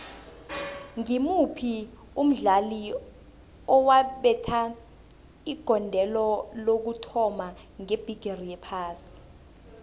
ngimuphi umdlali owabetha igondelo lokuthoma ngebhigiri yephasi